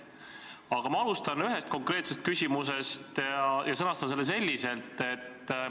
Aga ma alustan ühest konkreetsest küsimusest ja sõnastan selle selliselt.